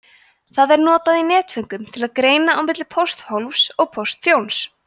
þetta er notað í netföngum til að greina á milli pósthólfs og póstþjóns